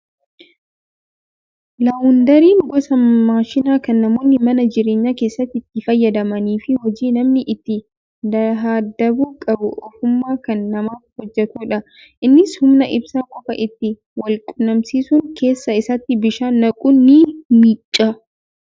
Laawundariin gosa maashinaa kan namoonni mana jireenyaa keessatti itti fayyadamanii fi hojii namni itti dahdabuu qabu ofumaa kan namaaf hojjatudha. Innis humna ibsaa qofaa itti walquunnamsiisuun keessa isaatti bishaan naquun ni miicca.